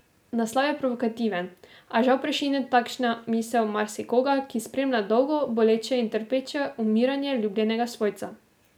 Naslov je provokativen, a žal prešine takšna misel marsikoga, ki spremlja dolgo, boleče in trpeče umiranje ljubljenega svojca.